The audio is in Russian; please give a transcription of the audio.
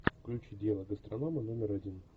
включи дело гастронома номер один